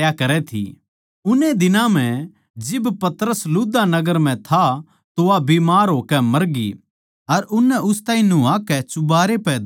उन्ने दिनां म्ह जिब पतरस लुद्दा नगर म्ह था तो वा बीमार होकै मरग्यी अर उननै उस ताहीं नुह्वाकै चुबारै पै धर लिया